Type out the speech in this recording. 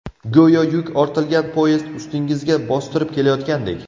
Go‘yo yuk ortilgan poyezd ustingizga bostirib kelayotgandek.